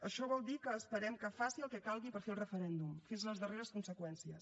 això vol dir que esperem que faci el que calgui per fer el referèndum fins a les darreres conseqüències